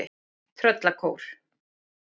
Tröllakór